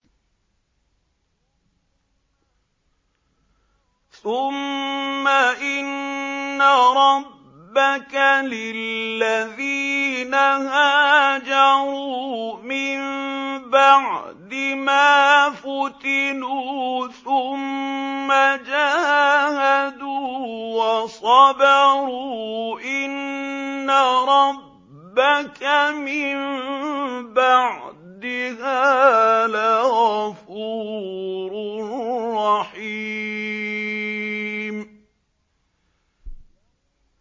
ثُمَّ إِنَّ رَبَّكَ لِلَّذِينَ هَاجَرُوا مِن بَعْدِ مَا فُتِنُوا ثُمَّ جَاهَدُوا وَصَبَرُوا إِنَّ رَبَّكَ مِن بَعْدِهَا لَغَفُورٌ رَّحِيمٌ